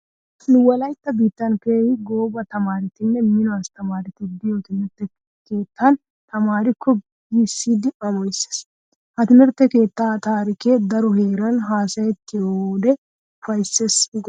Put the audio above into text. Nu wolaytta biittan keehi gooba tamaaretinne mino asttamaareti de'iyo timirtte keettan tamaariyakko giissidi amoyees. Ha timirtte keettaa taarikee daro heeran haasayettiyode ufayssees gooppa!